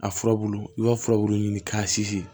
A furabulu i b'a furabulu ɲini k'a sinsin